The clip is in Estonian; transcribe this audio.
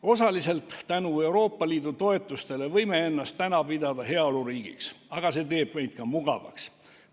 Osaliselt tänu Euroopa Liidu toetustele võime ennast pidada heaoluriigiks, aga see teeb meid ka mugavaks.